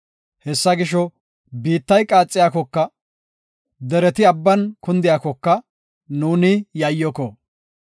Hessa gisho, biittay qaaxiyakoka, dereti abban kundiyakoka, nuuni yayyoko.